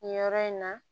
Nin yɔrɔ in na